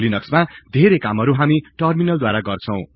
लिनक्समा धेरै कामहरु हामी टर्मिनल द्वारा गर्दछौ